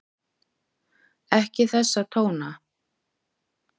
Ekki þessa tóna!